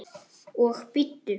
Og bíddu.